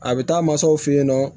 A bɛ taa mansaw fɛ yen nɔ